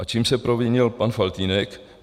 A čím s provinil pan Faltýnek?